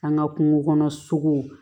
An ka kungo kɔnɔ sogo